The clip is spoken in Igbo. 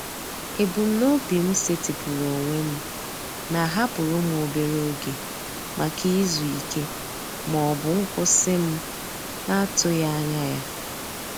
Ebumnobi m setịpụrụ onwe m na-ahapụrụ m obere oge maka izu ike ma ọ bụ nkwụsị m na-atụghị anya ya.